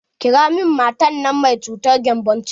Ƙira min matan nan mai cutar gembon ciki!